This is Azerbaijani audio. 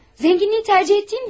Zənginliyi seçdiyim doğru.